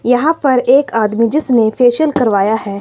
यहां पर एक आदमी जिसने फेशियल करवाया है।